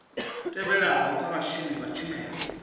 tevhelaho kha vhashumi vha tshumelo